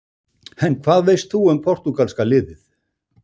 En hvað veist þú um Portúgalska-liðið?